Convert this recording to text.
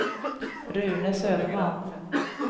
Rune Söderman